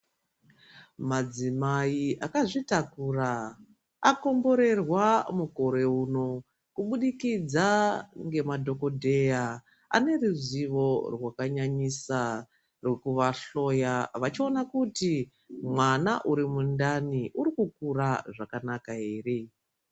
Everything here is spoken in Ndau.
Madzimai akazvitakura akomborerwa mukore uno kubudikidza ngemadhokodheya ane ruzivo rwakanyanyisa rokuvahloya vachiona kuti mwana uri mundani uri kukura zvakanaka ere.